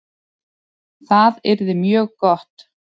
Það yrði mjög gott